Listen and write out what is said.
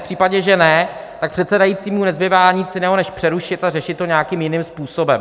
V případě, že ne, tak předsedajícímu nezbývá nic jiného než přerušit a řešit to nějakým jiným způsobem.